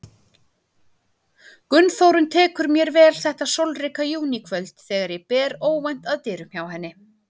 Gunnþórunn tekur mér vel þetta sólríka júníkvöld þegar ég ber óvænt að dyrum hjá henni.